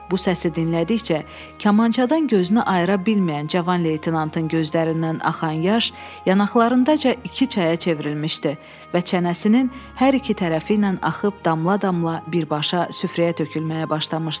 Bu səsi dinlədikcə, kamançadan gözünü ayıra bilməyən cavan leytenantın gözlərindən axan yaş yanaqlarındaca iki çaya çevrilmişdi və çənəsinin hər iki tərəfi ilə axıb damla-damla birbaşa süfrəyə tökülməyə başlamışdı.